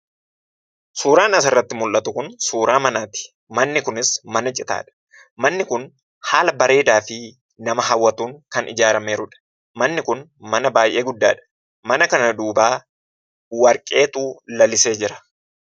Suuraan asirratti mullatu kun suuraa manaati. Manni kunis mana citaadha. Manni kun haala bareedaa fi nama hawwatuun kan ijaaramee jirudha. Manni kun mana baay'ee guddaadha. Mana kana duuba warqeetu lalisee jira.